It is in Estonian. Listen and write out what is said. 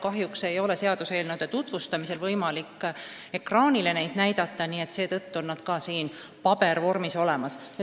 Kahjuks ei ole seaduseelnõude tutvustamisel võimalik ekraanil sellist materjali näidata, seetõttu on see siin pabervormis olemas.